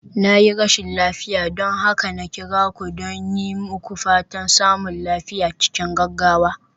Na yi rashin lafiya, don haka na kira don yi muku fatan samun lafiya cikin gaggawa.